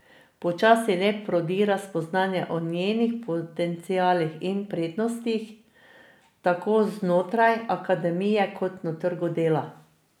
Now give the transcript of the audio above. Počasi le prodira spoznanje o njenih potencialih in prednostih, tako znotraj akademije kot na trgu dela.